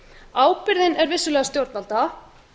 ábyrgðin er vissulega stjórnvalda